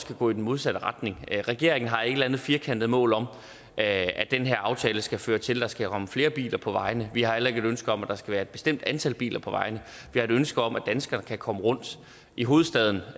kan gå i den modsatte retning regeringen har ikke et eller andet firkantet mål om at den her aftale skal føre til at der skal komme flere biler på vejene vi har heller ikke et ønske om at der skal være et bestemt antal biler på vejene vi har et ønske om at danskerne kan komme rundt i hovedstaden